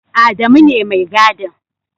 Adamu ne Mai gadin.